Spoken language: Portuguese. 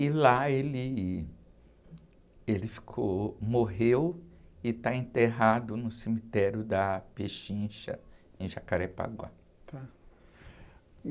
E lá ele, ele ficou, morreu e está enterrado no cemitério da Pechincha, em Jacarepaguá.á.